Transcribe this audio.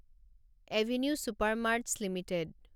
Avenue supermarts limited